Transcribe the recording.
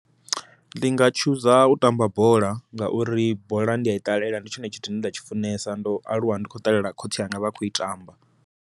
Ndi nga chooser u tamba bola ngauri bola ndi a i ṱalela ndi tshone tshithu nda tshi funesa ndo aluwa ndi khou ṱalela khotsi anga vha khou i tamba.